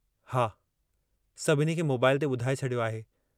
हा, सभिनी खे मोबाईल ते बुधाए छॾियो आहे।